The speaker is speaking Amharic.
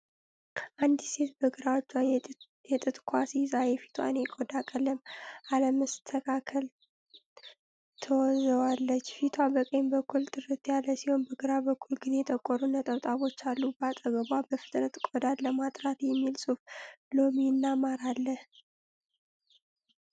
አንዲት ሴት በግራ እጇ የጥጥ ኳስ ይዛ የፊቷን የቆዳ ቀለም አለመስተካከል ትወዘዋለች። ፊቷ በቀኝ በኩል ጥርት ያለ ሲሆን፣ በግራ በኩል ግን የጠቆሩ ነጠብጣቦች አሉ። በአጠገቧ "በፍጥነት ቆዳን ለማጥራት" የሚል ጽሑፍ፣ ሎሚ እና ማር አለ።